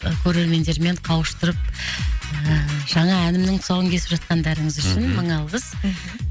көрермендермен қауыштырып ыыы жаңа әнімнің тұсауын кесіп жатқандарыңыз үшін мың алғыс мхм